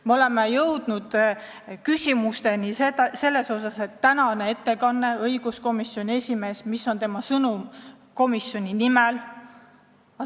Meil on täna küsimus, mis on õiguskomisjoni esimehe sõnum komisjoni nimel.